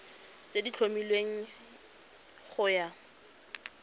tse di tlhomilweng go ya